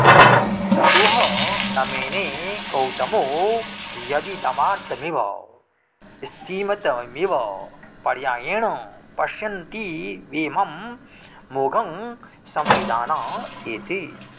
तदु ह न मेने गौतमो यदिदमार्तमिव स्तिमितमिव पर्यायेण पश्यन्तीवेमं मोघं संविदाना इति